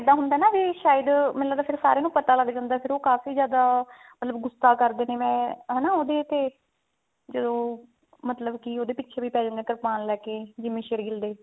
ਇੱਦਾਂ ਹੁੰਦਾ ਵੀ ਨਾ ਸ਼ਾਇਦ ਮੈਨੂੰ ਲੱਗਦਾ ਵੀ ਸਾਰਿਆਂ ਨੂੰ ਪਤਾ ਲੱਗ ਜਾਂਦਾ ਫ਼ੇਰ ਉਹ ਕਾਫੀ ਜ਼ਿਆਦਾ ਮਤਲਬ ਗੁੱਸਾ ਕਰਦੇ ਨੇ ਹਨਾ ਉਹਦੇ ਤੇ ਜਦੋਂ ਮਤਲਬ ਕੀ ਉਹਦੇ ਪਿੱਛੇ ਵੀ ਪੈ ਜਾਂਦੇ ਨੇ ਕਰਪਾਨ ਲੈਕੇ ਜਿੰਮੀ ਸ਼ੇਰਗਿੱਲ ਦੇ